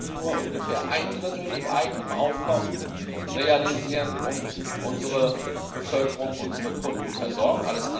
Wir können nur ungefähr ein Drittel mit eigenem Aufkommen realisieren und unsere Bevölkerung, unsere Kunden, versorgen.